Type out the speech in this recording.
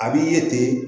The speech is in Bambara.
A b'i ye ten